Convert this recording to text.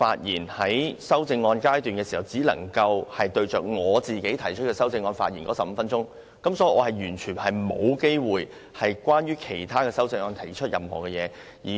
因應你的限制，我剛才只能針對自己的修正案發言15分鐘，完全沒有機會就其他修正案提出意見。